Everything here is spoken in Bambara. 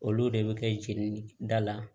Olu de bɛ kɛ jeli da la